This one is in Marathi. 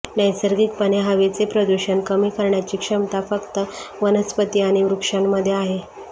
नैसर्गिकपणे हवेचे प्रदूषण कमी करण्याची क्षमता फक्त वनस्पती आणि वृक्षांमध्ये आहे